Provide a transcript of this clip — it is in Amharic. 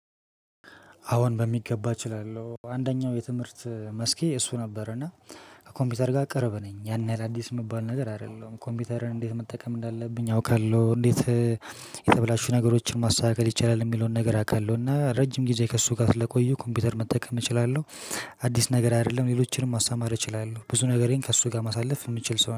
አዎን በሚገባ እችላለሁ አንደኛው የትምህርት መስኬ እሱ ነበር እና ከኮምፒውተር ጋር ቅርብ ነኝ ያን ያህል አዲስ የምባል ነገር አይደለም ኮምፒውተርን እንዴት መጠቀም እንዳለብኝ አውቃለሁ። እንዴት? የተበላሹ ነገሮችን ማስተካከል ይቻላል የሚለውን ነገር አውቃለሁና ረጅም ጊዜ ከእሱ ጋር ስለቆየሁ ኮምፒውተር መጠቀም እችላለሁ። አዲስ ነገር አይደለም ሌሎችንም ማስተማር እችላለሁ። ብዙ ነገሬን ከእሱ ጋር ማሳለፍ የምችል ሰው